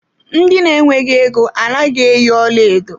Ndị na-nweghi égo a naghị eyi ọlaedo.